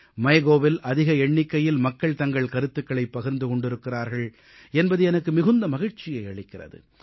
MyGovஇல் அதிக எண்ணிக்கையில் மக்கள் தங்கள் கருத்துக்களை பகிர்ந்து கொண்டிருக்கிறார்கள் என்பது எனக்கு மிகுந்த மகிழ்ச்சியை அளிக்கிறது